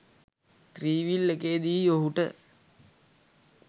three-wheel එකේදීයි ඔහුට